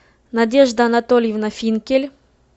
надежда анатольевна финкель